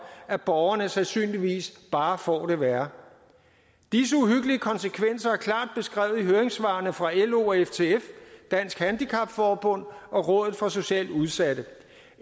at borgerne sandsynligvis bare får det værre disse uhyggelige konsekvenser er klart beskrevet i høringssvarene fra lo og ftf dansk handicap forbund og rådet for socialt udsatte